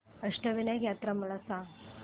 अष्टविनायक यात्रा मला सांग